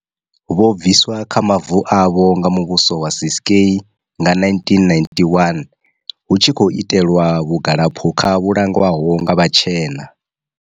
Vho bviswa kha mavu avho nga muvhuso wa Ciskei nga 1991, hu tshi khou itelwa vhugalaphukha vhu langwaho nga vhatshena.